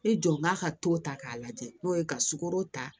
I jɔ n b'a ka to ta k'a lajɛ n'o ye ka sugoro ta